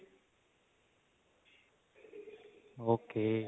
ok